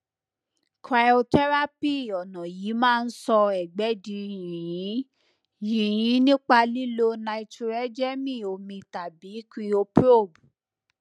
cs]cryotherapy ọnà yìí máa ń sọ ẹgbẹ di yìnyín yìnyín nípa lílo nítróẹjẹnì omi tàbí [cscryoprobe